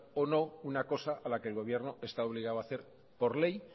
o no una cosa a la que el gobierno está obligado a hacer por ley